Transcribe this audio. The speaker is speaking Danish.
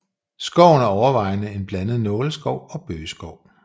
Skoven er overvejende en blandet nåleskov og bøgeskov